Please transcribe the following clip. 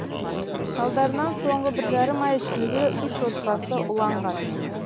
салдарынан соңғы бір жарым ай ішінде үш отбасы уланған